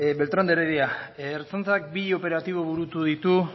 beltrán de heredia ertzaintzak bi operatibo burutu ditu